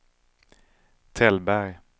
Tällberg